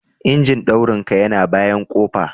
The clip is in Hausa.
Injin daurin ka yana bayan kofa.